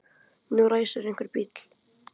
Nú ræsir einhver bíl.